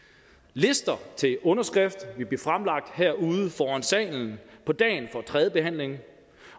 lister til underskrift vil blive fremlagt her ude foran salen på dagen for tredjebehandlingen